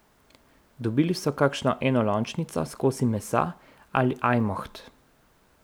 Dobili so kakšno enolončnico s kosi mesa ali ajmoht.